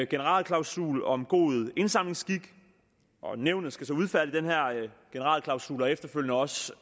generalklausul om god indsamlingsskik nævnet skal så udfærdige den her generalklausul og efterfølgende også